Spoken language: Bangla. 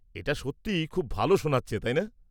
এটা সত্যিই খুব ভালো শোনাচ্ছে, তাই না?